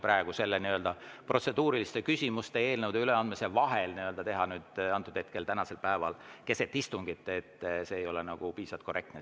Praegu protseduuriliste küsimuste esitamise ja eelnõude üleandmise vahel seda teha, nüüd, antud hetkel, tänasel päeval keset istungit, ei ole piisavalt korrektne.